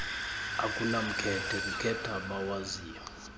akunamkhethe kukhetha abawaziyo